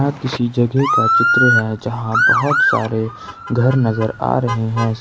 किसी जगह का चित्र है जहां बहोत सारे घर नजर आ रहे हैं।